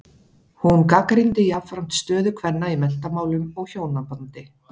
Hún gagnrýndi jafnframt stöðu kvenna í menntamálum og hjónabandi.